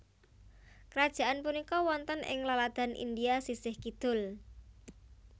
Krajaan punika wonten ing laladan India sisih kidul